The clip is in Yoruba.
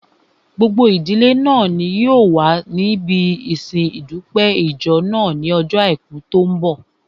Gbogbo ìdílé náà ni yóò wà níbi ìsin ìdúpẹ́ ìjọ náà ní ojó àìkú tó n bọ̀